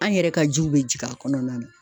An yɛrɛ ka jiw bɛ jigin a kɔnɔna na.